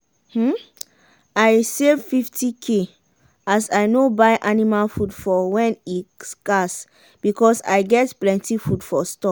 um i save 50k as i no buy anima food for wen e scarce because i get plenti food for store.